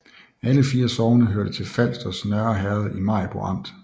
Alle 4 sogne hørte til Falsters Nørre Herred i Maribo Amt